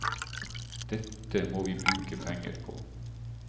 Dette må vi bruke penger på.